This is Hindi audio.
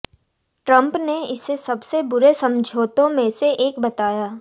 ट्रंप ने इसे सबसे बुरे समझौतों में से एक बताया